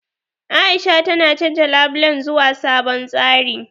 A'isha tana canja labulen zuwa sabon tsari.